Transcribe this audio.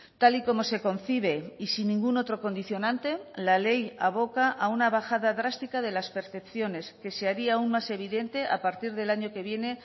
tal y como se concibe y sin ningún otro condicionante la ley aboca a una bajada drástica de las percepciones que se haría aun más evidente a partir del año que viene